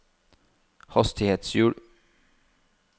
hastighetshjul